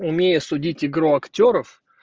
умею судить игру актёров